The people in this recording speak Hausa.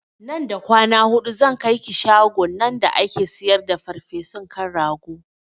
Nan da kwana hudu zan kaiki shagon nan da ake siyar da farfesun kan rago